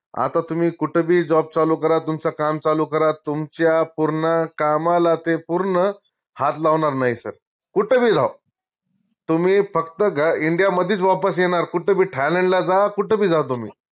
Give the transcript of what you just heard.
आता तुम्ही कूट बी job चालू करा तुमचा काम चालू करा तुमच्या पूर्ण कामाला ते पूर्ण हात लावनार नाई sir कूट बी जाओ तुम्ही फक्त india मदीच वापस येनार कूट बी थायलंडला जा कूट बी जा तुम्ही